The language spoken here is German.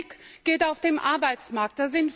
Mein Blick geht auf den Arbeitsmarkt.